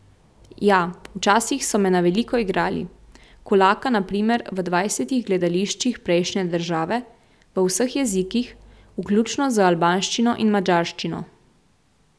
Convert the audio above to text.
Ja, včasih so me na veliko igrali, Kulaka na primer v dvajsetih gledališčih prejšnje države, v vseh jezikih, vključno z albanščino in madžarščino.